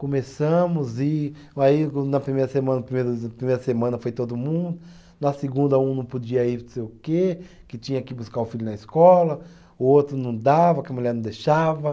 Começamos e aí na primeira semana, primeira semana foi todo mundo, na segunda um não podia ir não sei o quê, que tinha que buscar o filho na escola, o outro não dava, que a mulher não deixava.